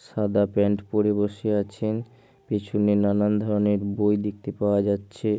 সাদা প্যান্ট পরে বসে আছেন পেছনে নানান ধরনের বই দেখতে পাওয়া যাচ্ছে।